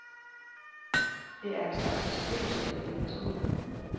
Det er en slags beskrivelse af din person.